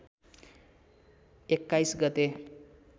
२१ गते